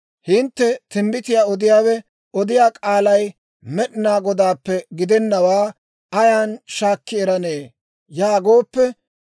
«Hintte, ‹Timbbitiyaa odiyaawe odiyaa k'aalay Med'inaa Godaappe gidennawaa ayan shaakki eranee?› yaagooppe,